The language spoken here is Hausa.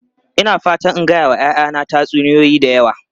Ina fatan in gaya wa 'ya'yana tatsuniyoyi da yawa.